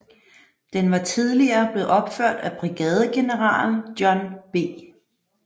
Den var tidligere blevet opført af brigadegeneral John B